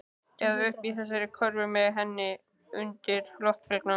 Eða uppi í þessari körfu með henni. undir loftbelgnum.